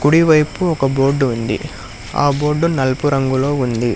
కుడివైపు ఒక బోర్డు ఉంది ఆ బోర్డు నలుపు రంగులో ఉంది